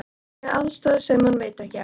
Með aðstoð sem hún veit ekki af.